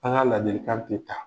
An ka ladilikan tɛ ta